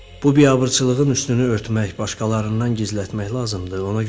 Bu biabırçılığın üstünü örtmək, başqalarından gizlətmək lazımdır.